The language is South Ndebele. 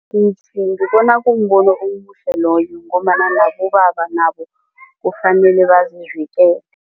ngibona kumbono omuhle loyo ngombana nabobaba nabo kufanele bazivikele.